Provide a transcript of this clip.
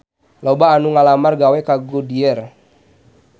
Loba anu ngalamar gawe ka Goodyear